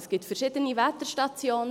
Es gibt verschiedene Wetterstationen.